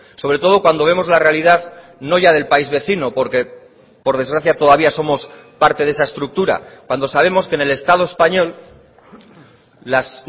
sobre todo cuando vemos la realidad no ya del país vecino porque por desgracia todavía somos parte de esa estructura cuando sabemos que en el estado español las